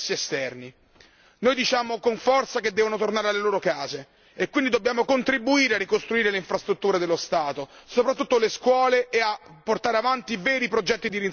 Noi diciamo con forza che devono tornare alle loro case e quindi dobbiamo contribuire a ricostruire le infrastrutture dello Stato, soprattutto le scuole, e a portare avanti veri progetti di reinserimento nella società.